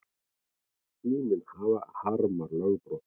Síminn harmar lögbrot